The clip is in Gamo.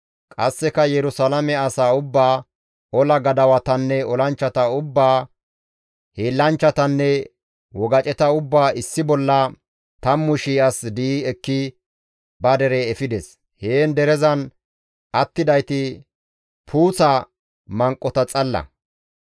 Qasseka Yerusalaame asaa ubbaa, ola gadawatanne olanchchata ubbaa, hiillanchchatanne wogaceta ubbaa issi bolla 10,000 as di7i ekki ba dere efides; heen derezan attidayti puuththa manqota xalla.